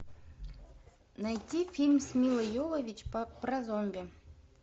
найти фильм с милой йовович про зомби